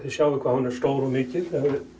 þið sjáið hvað hún er stór og mikil ef